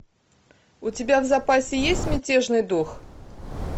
у тебя в запасе есть мятежный дух